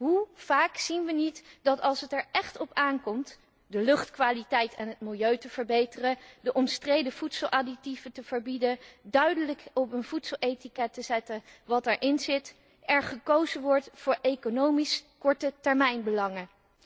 Hoe vaak zien wij niet dat, als het er echt op aankomt de luchtkwaliteit en het milieu te verbeteren, de omstreden voedseladditieven te verbieden, duidelijk op een voedseletiket te zetten wat erin zit, er gekozen wordt voor economische kortetermijnbelangen?